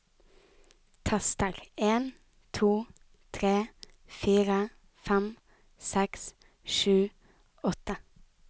Tester en to tre fire fem seks sju åtte